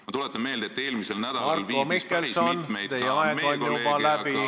Ma tuletan meelde, et eelmisel nädalal viibis päris mitu meie kolleegi ja valitsuse liiget välisreisil ...